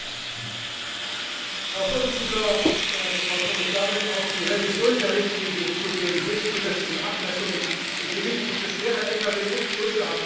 Herr Präsident, verehrte Frau Kommissarin! Auf die Revision der Richtlinie zu den höchstzulässigen Abmessungen und Gewichten für schwere Lkws und Busse habe ich jahrelang gewartet.